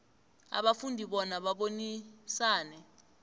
abafundi bona babonisane